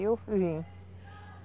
Aí eu vim.